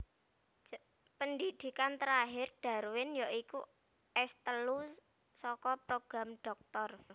Pendhidhikan terakhir Darwin ya iku S telu saka program dhoktor